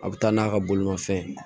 A bɛ taa n'a ka bolimafɛn ye